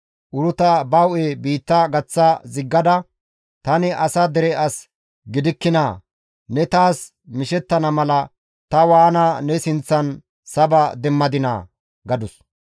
Uruta ba hu7e biitta gaththa ziggada, «Tani asa dere as gidikkinaa? Ne taas mishettana mala ta waana ne sinththan saba demmadinaa?» gadus.